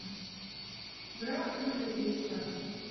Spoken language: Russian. граф монте кристо